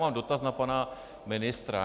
Mám dotaz na pana ministra.